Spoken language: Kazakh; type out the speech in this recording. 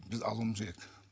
біз алуымыз керек